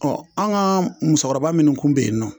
Ɔ an ga musokɔrɔba minnu kun be yen nɔ